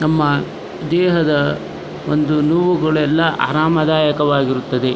ತಮ್ಮ ದೇಹದ ಒಂದು ನೋವುಗಳೆಲ್ಲ ಆರಾಮದಾಯಕವಾಗಿರುತ್ತದೆ.